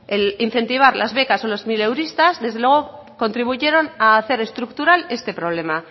el incentivar las becas o los mileuristas desde luego contribuyeron a hacer estructural este problema